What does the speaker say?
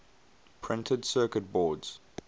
printed circuit boards